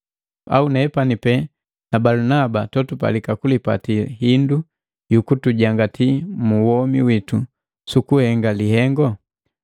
Au nepani pe na Balunaba totupalika kulipati hindu yukutujangati mu womi witu suku henga lihengu?